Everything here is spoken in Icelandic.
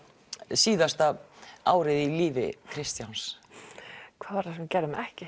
síðasta árið í lífi Kristjáns hvað var það sem við gerðum ekki